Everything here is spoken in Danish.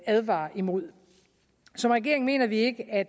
advare imod som regering mener vi ikke at